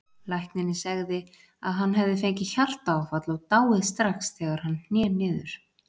Læknirinn segði að hann hefði fengið hjartaáfall og dáið strax þegar hann hné niður.